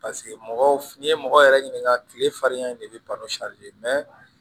mɔgɔw n'i ye mɔgɔw yɛrɛ ɲininka kile farinya in de bɛ ban